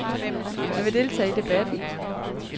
Han vil deltage i debatten.